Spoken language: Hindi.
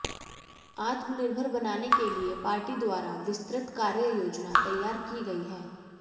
आत्मनिर्भर बनाने के लिए पार्टी द्वारा विस्तृत कार्य योजना तैयार की गई है